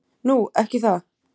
Nú. ekki það?